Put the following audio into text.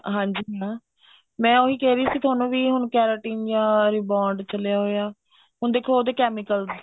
ਹਾਂਜੀ ਹਾਂ ਮੈਂ ਉਹੀ ਕਹਿ ਹੀ ਸੀ ਤੁਹਾਨੂੰ ਵੀ ਹੁਣ keratin ਜਾਂ rebound ਚੱਲਿਆ ਹੋਇਆ ਹੁਣ ਦੇਖੋ ਉਹਦੇ chemicals